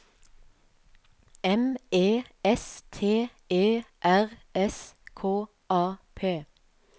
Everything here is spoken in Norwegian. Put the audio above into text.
M E S T E R S K A P